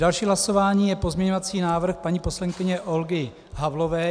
Další hlasování je pozměňovací návrh paní poslankyně Olgy Havlové.